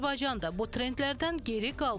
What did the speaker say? Azərbaycan da bu trendlərdən geri qalmır.